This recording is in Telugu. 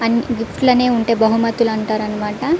అన్ని గిఫ్ట్లు ఉంటె బహుమతల్లు అంటారు అనమాట.